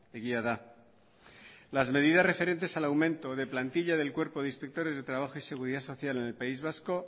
egia da las medidas referentes al aumento de plantilla del cuerpo de inspectores de trabajo y seguridad social en el país vasco